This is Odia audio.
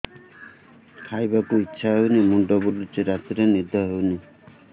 ଖାଇବାକୁ ଇଛା ହଉନି ମୁଣ୍ଡ ବୁଲୁଚି ରାତିରେ ନିଦ ହଉନି